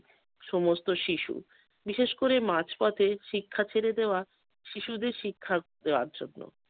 সমস্ত শিশু বিশেষ করে মাঝপথে শিক্ষা ছেড়ে দেওয়া শিশুদের শিক্ষা দেওয়ার জন্য।